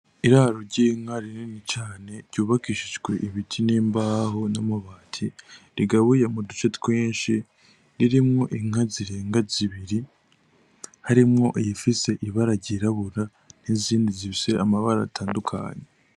Iraro ry'inka rinini cane ryubakishijwe ibiti n'imbaho n'amabati, rigabuye mu duce twinshi ririmwo inka zirenga zibiri, harimwo iyifise ibara ryirabura n'izindi zifise amabara atandukanye.